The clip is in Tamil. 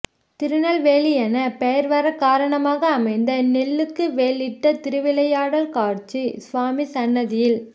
திருநெல்வேலி எனப் பெயா் வரக் காரணமாக அமைந்த நெல்லுக்கு வேலியிட்ட திருவிளையாடல் காட்சி சுவாமி சன்னதியில்